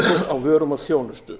á vörum og þjónustu